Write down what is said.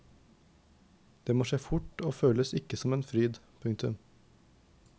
Det må skje fort og føles ikke som en fryd. punktum